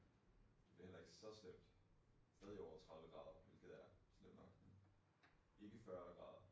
Det bliver heller ikke så slemt stadig over 30 grader hvilket er slemt nok. Ikke 40 grader